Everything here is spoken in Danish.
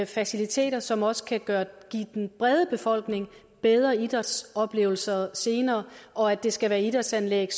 faciliteter som også kan give den brede befolkning bedre idrætsoplevelser senere og at det skal være idrætsanlæg